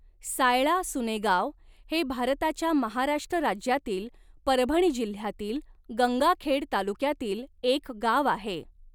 सायळासुनेगाव हे भारताच्या महाराष्ट्र राज्यातील परभणी जिल्ह्यातील गंगाखेड तालुक्यातील एक गाव आहे.